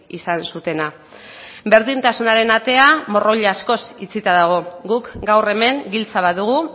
izan zutena berdintasunaren atea morroi askoz itxita dago guk gaur hemen giltza badugu